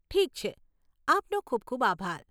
ઠીક છે! આપનો ખૂબ ખૂબ આભાર.